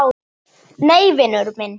Nei, vinur minn.